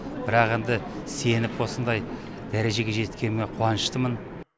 бірақ енді сеніп осындай дәрежеге жеткеніме қуаныштымын